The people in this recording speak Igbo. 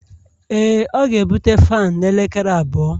Ee, ọ ga-ebute fan n'elekere abụọ